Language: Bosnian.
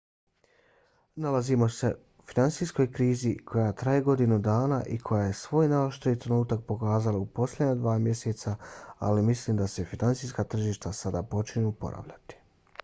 nalazimo se finansijskoj krizi koja traje godinu dana i koja je svoj najoštriji trenutak pokazala u posljednja dva mjeseca ali mislim da se finansijska tržišta sada počinju oporavljati.